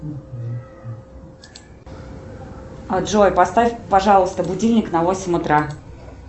джой поставь пожалуйста будильник на восемь утра